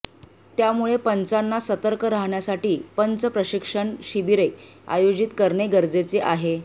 त्यामुळे पंचाना सतर्क राहण्यासाठी पंच प्रशिक्षण शिबिरे आयोजित करणे गरजेचे आहे